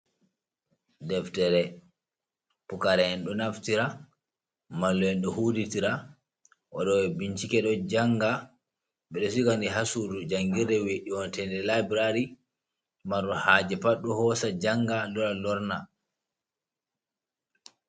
Deftere pucaraen ɗo naftira, mallum en ɗo huditra, waɗoɓe bincike ɗo janga, ɓeɗo sigani ha sudu jangirde wiyetende labrari, marɗo haje pat ɗo hosa janga lora lorna.